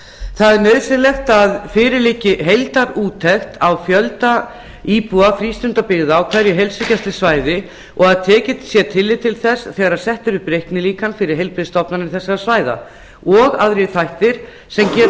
það er nauðsynlegt að fyrir liggi heildarúttekt á fjölda íbúa frístundabyggða á hverju heilsugæslusvæði og að tekið sé tillit til þess þegar sett er upp reiknilíkan fyrir heilbrigðisstofnanir þessara svæða og aðrir þættir sem geta